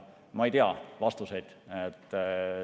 Ma ei tea vastuseid.